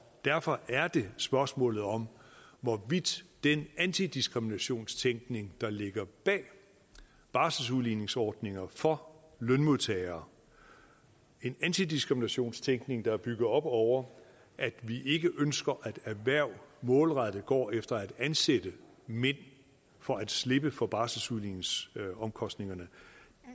derfor er det spørgsmålet om hvorvidt den antidiskriminationstænkning der ligger bag barselsudligningsordninger for lønmodtagere en antidiskriminationstænkning der er bygget op over at vi ikke ønsker at erhverv målrettet går efter at ansætte mænd for at slippe for barselsudligningsomkostningerne